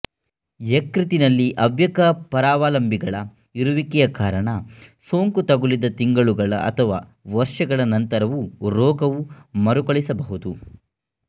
ಯಕೃತ್ತಿನಲ್ಲಿ ಅವ್ಯಕ್ತ ಪರಾವಲಂಬಿಗಳ ಇರುವಿಕೆಯ ಕಾರಣ ಸೋಂಕು ತಗುಲಿದ ತಿಂಗಳುಗಳ ಅಥವಾ ವರ್ಷಗಳ ನಂತರವೂ ರೋಗವು ಮರುಕಳಿಸಬಹುದು